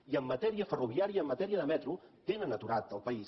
i en matèria ferroviària i en matèria de metro tenen aturat el país